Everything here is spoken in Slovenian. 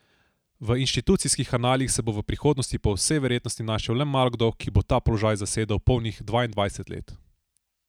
V inštitutskih analih se bo v prihodnosti po vsej verjetnosti našel le malokdo, ki bo ta položaj zasedal polnih dvaindvajset let.